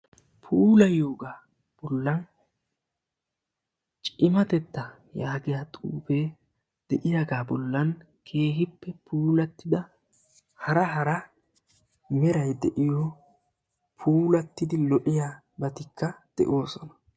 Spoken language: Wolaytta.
Puulayiyooga bollan cimatetta yaagiyooga bolla cimatetta yaagiyo xuufiya hara hara bollan de'osonna.